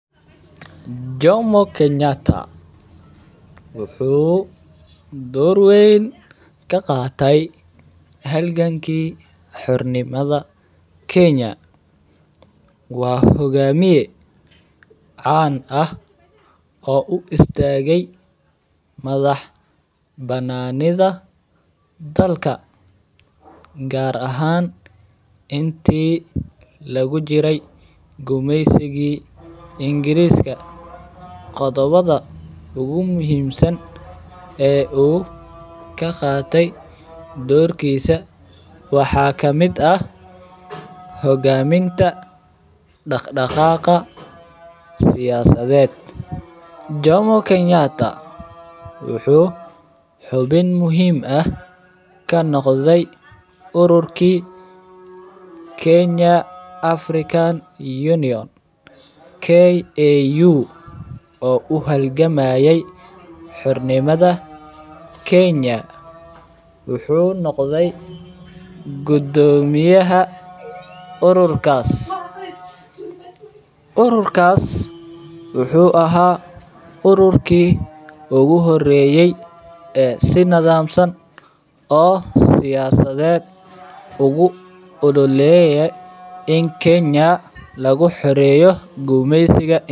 Jomo kenyatta dor weyn ka qate halganki xornimada kenya waa hogamiye can ah oo u istage madhax bananidha dalka gar ahan intee lagu jiray gumisigi ingirska qodhobada ugu muhiim san wuxuu ka qate dorkisa waxaa kamiid ah hogaminta daq daqa siyasaded, jomo kenyatta wuxuu xubin muhiim ah kanoqdey ururki kenya african Union KAU oo u halgamaye xornimadha kenya wuxuu noqdey gudomiyaha ururkas, ururkas wuxuu aha ururki ogu hore ee si nadham san oo siyasadeed ugu ololeye in kenya lagu xurmeyo geesiga.